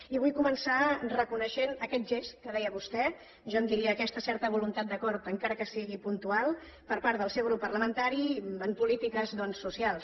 i vull començar reconeixent aquest gest que deia vostè jo en diria aquesta certa voluntat d’acord encara que sigui puntual per part del seu grup parlamentari en polítiques doncs socials